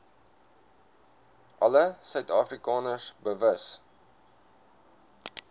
alle suidafrikaners bewus